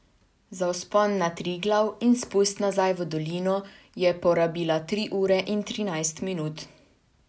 Za vzpon na Triglav in spust nazaj v dolino je porabila tri ure in trinajst minut.